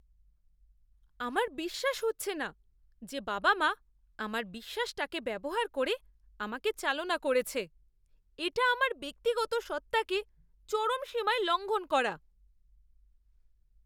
আমার বিশ্বাস হচ্ছে না যে বাবা মা আমার বিশ্বাসটাকে ব্যবহার করে আমাকে চালনা করেছে। এটা আমার ব্যক্তিগত সত্ত্বাকে চরম সীমায় লঙ্ঘন করা।